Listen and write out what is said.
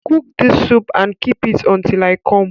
Cook this soup and keep it until I come